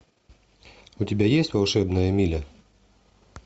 у тебя есть волшебная миля